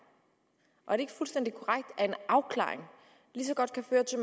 og er det ikke fuldstændig korrekt at en afklaring lige så godt kan føre til